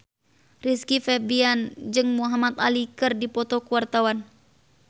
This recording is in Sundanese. Rizky Febian jeung Muhamad Ali keur dipoto ku wartawan